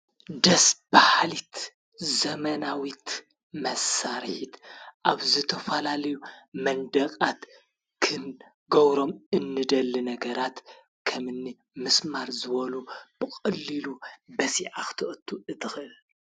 ደስ ብኃሊት ዘመናዊት መሳርሒት ኣብ ዝተፋላልዩ መንደቓት ክንገውሮም እንደሊ ነገራት ከምኒ ምስማር ዘበሉ ብቕልሉ በሢኣኽተቕቱ እድኺ።